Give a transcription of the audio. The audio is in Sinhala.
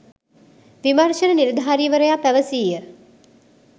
විමර්ශන නිලධාරිවරයා පැවසීය.